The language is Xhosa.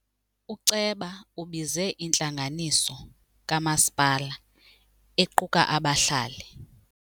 Uceba ubize intlanganiso kamasipala equka abahlali.